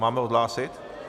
Máme odhlásit?